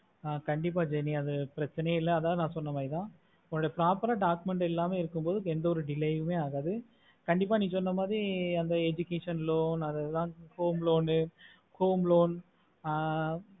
கண்டிப்பா jeni அது ஒரு பிரச்னையா இல்ல அனா ந சொன்ன மரித்த ஒரு proper ஆஹ் document இல்லாம இருக்குறதுக்கு எந்த ஒரு delay அகத்து கண்டிப்பா நீ சொன்ன மாரி அந்த education loan home loan ஆஹ்